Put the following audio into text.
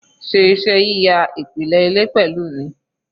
Ṣe iṣẹ́ yíya ìpìlẹ̀ ilé pẹ̀lú mi